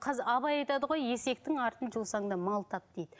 абай айтады ғой есектің артын жусаң да мал тап дейді